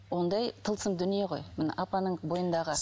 ондай тылсым дүние ғой міне апаның бойындағы